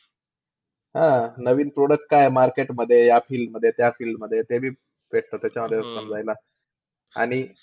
हं. नवीन product काय आहे market मध्ये या field मध्ये, त्या field मध्ये. ते बी भेटतं त्याच्यामध्ये समजायला. आणि,